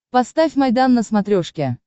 поставь майдан на смотрешке